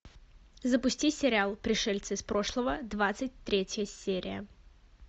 запусти сериал пришельцы из прошлого двадцать третья серия